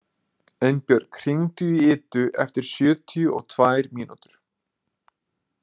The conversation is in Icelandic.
Einbjörg, hringdu í Idu eftir sjötíu og tvær mínútur.